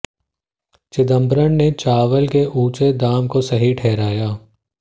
चिदंबरम ने चावल के ऊंचे दाम को सही ठहराया